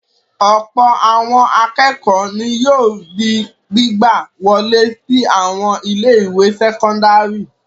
Ọ̀pọ̀ àwọn akẹ́kọ̀ọ́ ni yóò di gbígbà wọlé sí àwọn ilé-ìwé sẹ́kọ́ndárì.